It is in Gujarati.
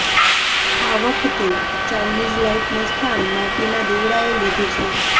આ વખતે ચાઈનીઝ લાઈટનું સ્થાન માટીના દિવડાએ લીધું છે